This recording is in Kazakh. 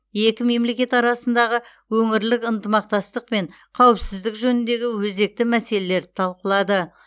екі мемлекет арасындағы өңірлік ынтымақтастық пен қауіпсіздік жөніндегі өзекті мәселелерді талқылады